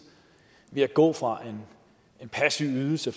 ved at gå fra en passiv ydelse